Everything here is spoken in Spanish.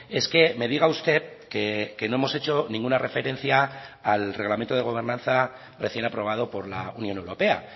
es que me diga usted que no hemos hecho ninguna referencia al reglamento de gobernanza recién aprobado por la unión europea